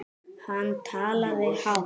Hann talaði hátt.